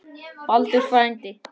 Baldur frændi.